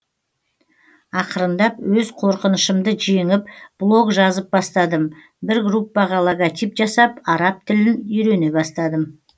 ақырындап өз қорқынышымды жеңіп блог жазып бастадым бір группаға логотип жасап араб тілін үйрене бастадым